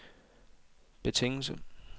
betingelse